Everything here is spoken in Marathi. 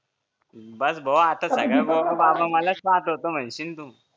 बस भो आता सगळ्या पोरी मलाच पाहत होत्या असं म्हणशील तू